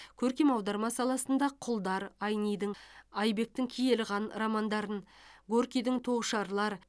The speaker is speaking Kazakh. көркем аударма саласында құлдар айнидің айбектің киелі қан романдарын горькийдің тоғышарлар